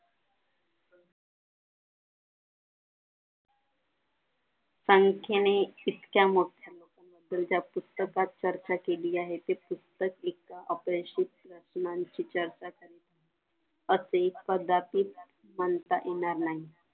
संख्येने इतक्या मोठ्या तर त्या पुस्तकात चर्चा केली आहे तर ती पुस्तके असे कदाचित म्हणता येणार नाही